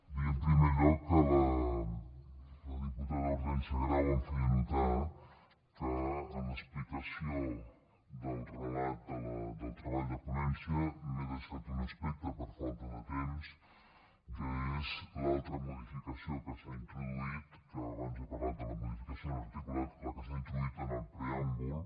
dir en primer lloc que la diputada hortènsia grau em feia notar que en l’explicació del relat del treball de ponència m’he deixat un aspecte per falta de temps que és l’altra modificació que s’hi ha introduït abans he parlat de la modificació en l’articulat la que s’ha introduït en el preàmbul